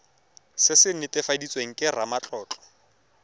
se se netefaditsweng ke ramatlotlo